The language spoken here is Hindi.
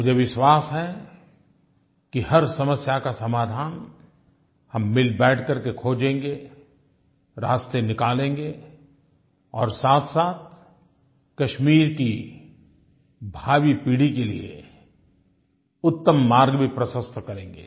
मुझे विश्वास है कि हर समस्या का समाधान हम मिलबैठ करके खोजेंगे रास्ते निकालेंगे और साथसाथ कश्मीर की भावी पीढ़ी के लिये उत्तम मार्ग भी प्रशस्त करेंगे